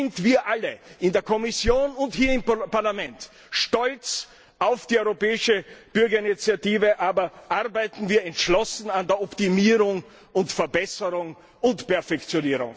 Seien wir alle in der Kommission und hier im Parlament stolz auf die Europäische Bürgerinitiative, aber arbeiten wir entschlossen an der Optimierung und Verbesserung und Perfektionierung!